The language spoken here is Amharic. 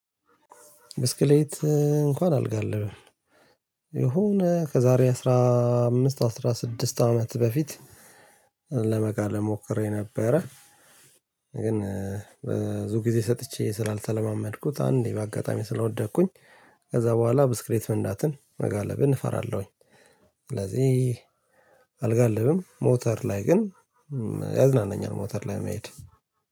ብስክሌት እንኳን አልጋልብም። የሆነ ከዛሬ አስራ አምስት አስራ ስድስት አመት በፊት ለመጋለብ ሞክሬ ነበረ። ግን ብዙ ጊዜ ሰጥቼ ስላልተለማመድኩት አንዴ በአጋጣሚ ስለወደኩኝ። ከዛ በኋላ ብስክሌት መንዳትን መጋለብን እፈራለሁኝ። ስለዚህ አልጋልብም ሞተር ላይ ግን ያዝናናኛል። ሞተር ላይ መሄድ